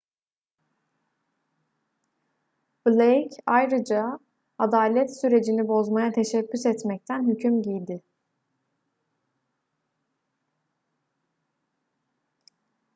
blake ayrıca adalet sürecini bozmaya teşebbüs etmekten hüküm giydi